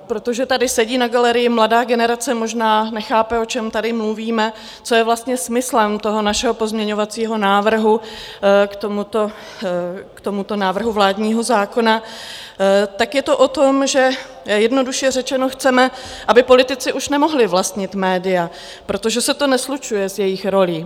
Protože tady sedí na galerii mladá generace, možná nechápe, o čem tady mluvíme, co je vlastně smyslem toho našeho pozměňovacího návrhu k tomuto návrhu vládního zákona, tak je to o tom, že jednoduše řečeno chceme, aby politici už nemohli vlastnit média, protože se to neslučuje s jejich rolí.